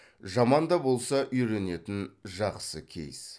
жаман да болса үйренетін жақсы кейс